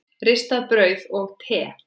Ristað brauð og te.